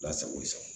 Ala sago i sago